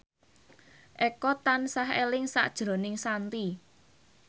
Eko tansah eling sakjroning Shanti